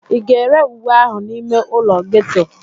Ị ga-ere uwe ahụ n'ime ụlọ ghetto?